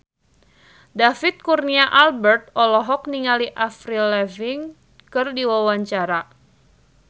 David Kurnia Albert olohok ningali Avril Lavigne keur diwawancara